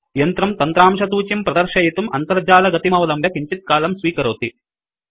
यन्त्रं तन्त्रांशसूचीं प्रदर्शयितुं आन्तर्जालिकगतिमवलम्ब्य किञ्चित्कालं स्वीकरोति